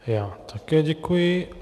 Já také děkuji.